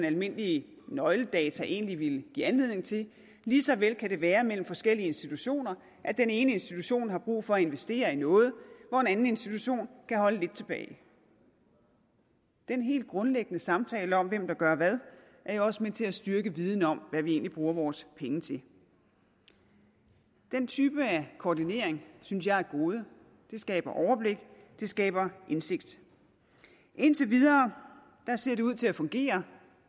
almindelige nøgledata egentlig ville give anledning til lige så vel kan det være sådan mellem forskellige institutioner at den ene institution har brug for at investere i noget hvor en anden institution kan holde lidt tilbage den helt grundlæggende samtale om hvem der gør hvad er jo også med til at styrke viden om hvad vi egentlig bruger vores penge til den type af koordinering synes jeg er et gode det skaber overblik det skaber indsigt indtil videre ser det ud til at fungere